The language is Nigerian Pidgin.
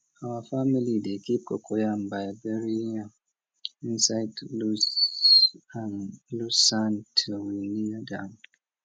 our family dey keep cocoyam by burying am inside loose sand till we need am